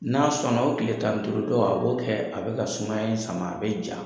N'a sɔnna o tile tan duuru tɔ, a b'o kɛ a bɛ ka sumaya in sama a bɛ ja.